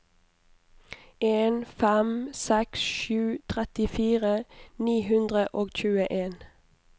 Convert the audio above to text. en fem seks sju trettifire ni hundre og tjueen